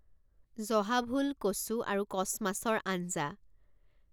জহা ভোল, কচু আৰু কছ মাছৰ আঞ্জা